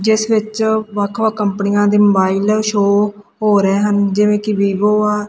ਜਿੱਸ ਵਿੱਚ ਵਖ ਵਖ ਕੰਪਨੀਆਂ ਦੇ ਮੋਬਾਈਲ ਆ ਸ਼ੋ ਹੋ ਰਹੇ ਹਨ ਜਿਵੇਂ ਕੀ ਵੀਵੋ ਆ।